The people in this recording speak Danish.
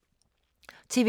TV 2